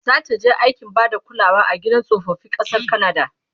zataje aikin Bada kulawa a gidan tsofaffi ƙasar kanada?